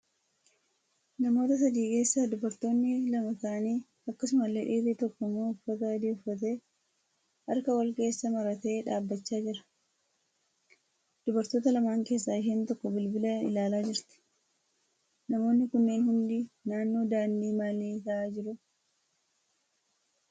Namoota sadii keessa dubartoonni lama taa'anii akkasumallee dhiirri tokko immoo uffata adii uffatee harka wal keessa maratee dhaabbachaa jira. Dubartoota lamaan keeessaa isheen tokko bilbila ilaalaa jirti. Namoonni kunneen hundi naannoo daandii maalii taa'a jiru?